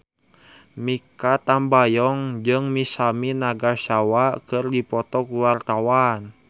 Mikha Tambayong jeung Masami Nagasawa keur dipoto ku wartawan